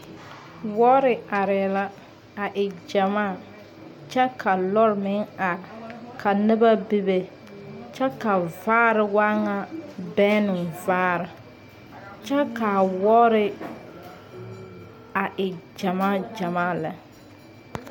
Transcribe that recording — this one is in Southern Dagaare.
Yel yel kaŋ yel naa la a kyɛ nyɛ nobɔ naŋ gbultaa yaga lɛ ka ba su kparesɔglɔ ba mine meŋ su kparepeɛɛli kyɛ ka ba mine a eŋ nɔwoore kyɛ ka ba gbultaa a segilitaa are tabol kpoŋ be la a ba seŋsugliŋ ka zareŋ bilii bilii a yɛ ngmaa ngmaa a zie zaa.